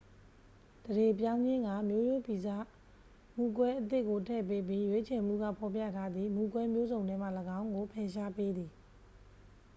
သန္ဓေပြောင်းခြင်းက မျိုးရိုးဗီဇ မူကွဲအသစ်ကို ထည့်ပေးပြီး ရွေးချယ်မှုက ဖော်ပြထားသည့် မူကွဲမျိုးစုံထဲမှ ၎င်းကို ဖယ်ရှားပေးသည်